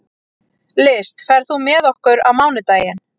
List, ferð þú með okkur á mánudaginn?